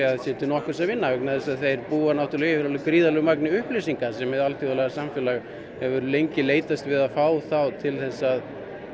að það sé til nokkurs að vinna vegna þess að þeir búa náttúrlega yfir gríðarlegu magni upplýsinga sem hið alþjóðlega samfélag hefur lengi leitast við að fá þá til að